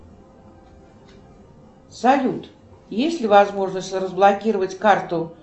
салют есть ли возможность разблокировать карту